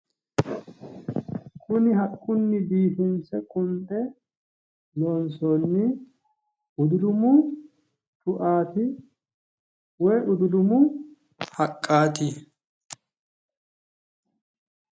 kuni haqqunni biifinse qunxe loonsoonni udulumu cuaati woyi udulumu haqqaati.